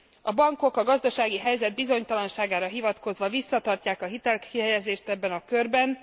A bankok a gazdasági helyzet bizonytalanságára hivatkozva visszatartják a hitelkihelyezést ebben a körben.